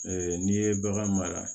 n'i ye bagan mara